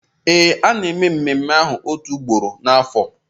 Ee, a na-eme ememme ahụ otu ugboro n'afọ